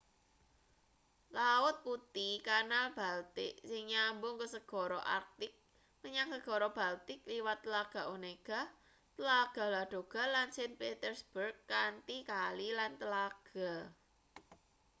laut putih-kanal baltik sing nyambungke segara arktik menyang segara baltik liwat tlaga onega tlaga ladoga lan saint petersburg kanthi kali lan tlaga